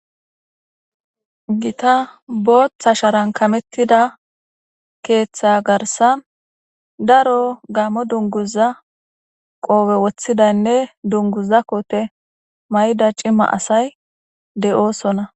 Gita boththa sharan kamettida keththa garsa daro gammo dunguza qoobe woththidaynne dunguza kote may7ida cima asay de7oosona.